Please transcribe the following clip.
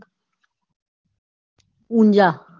Unjha